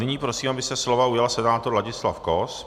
Nyní prosím, aby se slova ujal senátor Ladislav Kos.